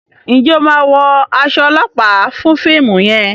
njé o má wọ as olopa fún fíìmù yen?